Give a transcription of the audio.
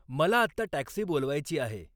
मला आत्ता टॅक्सी बोलवायची आहे